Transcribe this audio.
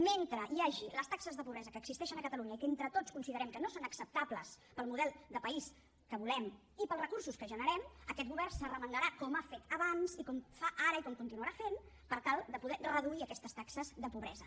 mentre hi hagi les taxes de pobresa que existeixen a catalunya i que entre tots considerem que no són acceptables pel model de país que volem i pels recursos que generem aquest govern s’arremangarà com ha fet abans i com fa ara i com continuarà fent per tal de poder reduir aquestes taxes de pobresa